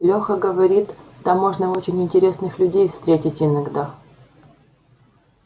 леха говорит там можно очень интересных людей встретить иногда